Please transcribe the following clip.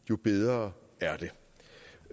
jo bedre er